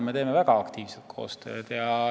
Me teeme väga aktiivset koostööd.